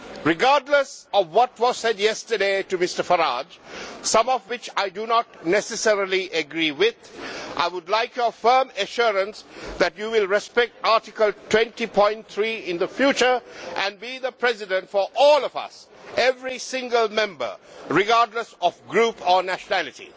Regardless of what was said yesterday to Mr Farage, some of which I do not necessarily agree with, I would like your firm assurance that you will respect Rule 20 in the future and be the President for all of us, every single Member, regardless of group or nationality.